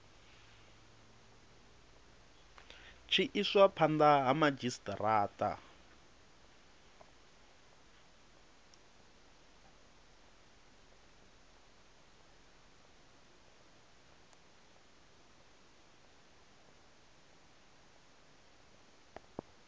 tshi iswa phanda ha madzhisitarata